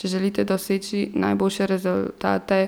Če želite doseči najboljše rezultate,